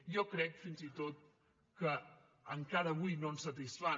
jo crec fins i tot que encara avui no ens satisfan